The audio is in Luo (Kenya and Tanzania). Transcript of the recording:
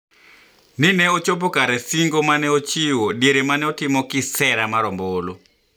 Ni ne ochopo kare singo ma nene ochiwo diere ma ne otimo kisera mar ombulu